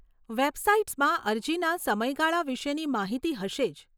વેબસાઇટ્સમાં અરજીના સમયગાળા વિશેની માહિતી હશે જ.